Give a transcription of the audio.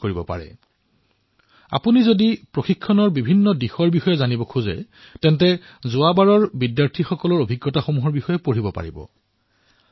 আপোনালোকে যদি এই প্ৰশিক্ষণ কেনে হয় কেনে ধৰণে ইয়াক সম্পন্ন কৰা হয় ই কেনে ৰোমাঞ্চক আদি জানিবলৈ বিচাৰে তেন্তে যোৱাবাৰ যিসকলে ইয়াত অংশগ্ৰহণ কৰিছে তেওঁলোকৰ অভিজ্ঞতা নিশ্চয়কৈ পঢ়ক